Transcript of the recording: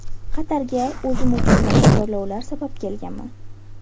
Qatarga o‘zim uchun yangi chorlovlar sabab kelganman.